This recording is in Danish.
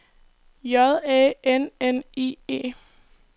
J A N N I E